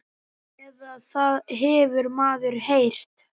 Eða það hefur maður heyrt.